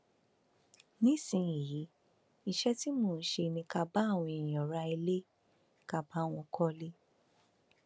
nísìnyìí iṣẹ tí mò ń ṣe ni ká bá àwọn èèyàn ra ilé ká bá wọn kọlé